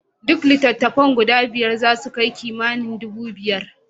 Duk litattafan guda biyar zasu kai kimanin nera dubu biyar.